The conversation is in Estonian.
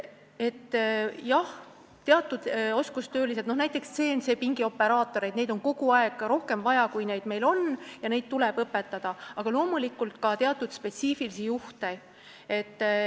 Jah, on teatud oskustöölised, näiteks CNC-pingi operaatorid, keda on kogu aeg rohkem vaja, kui neid on, ja neid tuleb õpetada, aga loomulikult on vaja ka teatud spetsiifikaga juhte.